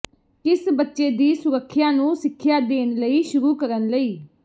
ਕਿਸ ਬੱਚੇ ਦੀ ਸੁਰੱਖਿਆ ਨੂੰ ਸਿੱਖਿਆ ਦੇਣ ਲਈ ਸ਼ੁਰੂ ਕਰਨ ਲਈ